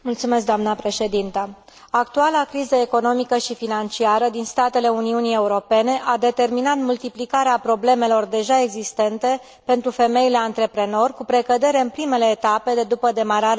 Actuala criză economică și financiară din statele Uniunii Europene a determinat multiplicarea problemelor deja existente pentru femeile antreprenoare, cu precădere în primele etape de după demararea unei activități economice.